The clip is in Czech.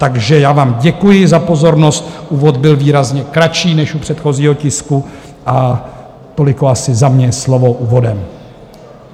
Takže já vám děkuji za pozornost, úvod byl výrazně kratší než u předchozího tisku, a toliko asi za mě slovo úvodem.